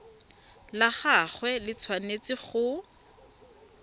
la gagwe le tshwanetse go